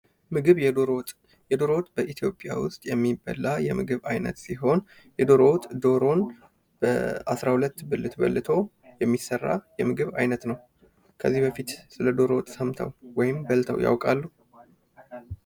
ምግብ፤ የዶሮ ወጥ፦ የዶሮ ወጥ በኢትዮጵያ ውስጥ የሚበላ የምግብ አይነት ሲሆን የዶሮ ወጥ ዶሮን በአስራ ሁለት ብልት በልቶ የሚሰራ የምግብ አይነት ነው። ከዚህ በፊት ስለ ዶሮ ወጥ ተሰምተው ወይም በልተው ያውቃል?